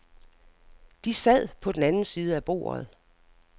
De sad på den anden side af bordet.